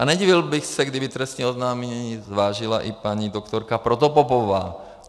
A nedivil bych se, kdyby trestní oznámení zvážila i paní doktorka Protopopová.